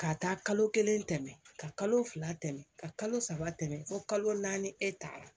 Ka taa kalo kelen tɛmɛ ka kalo fila tɛmɛ ka kalo saba tɛmɛ fo kalo naani e ta la